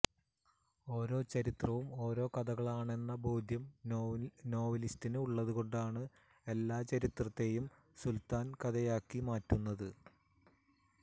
ഓരോ ചരിത്രവും ഓരോ കഥകളാണെന്ന ബോധ്യം നോവലിസ്റ്റിന് ഉള്ളതുകൊണ്ടാണ് എല്ലാ ചരിത്രത്തെയും സുല്ത്താന് കഥയാക്കി മാറ്റുന്നത്